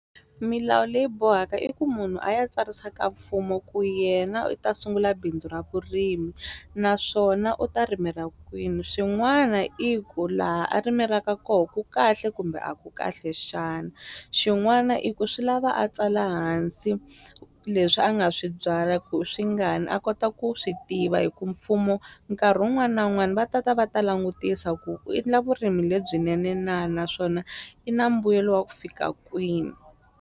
Milawu leyi bohaka i ku munhu a ya tsarisa ka mfumo ku yena u ta sungula bindzu ra vurimi naswona u ta rimela kwini swin'wana i ku laha a rimelaka koho ku kahle kumbe a ku kahle xana xin'wana i ku swi lava a tsala hansi leswi a nga swi byala ku i swi ngani a kota ku swi tiva hi ku mfumo nkarhi wun'wani na wun'wani va tata va ta langutisa ku i endla vurimi lebyinene na naswona i na mbuyelo wa ku fika kwini.